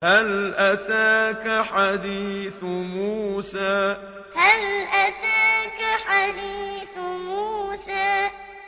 هَلْ أَتَاكَ حَدِيثُ مُوسَىٰ هَلْ أَتَاكَ حَدِيثُ مُوسَىٰ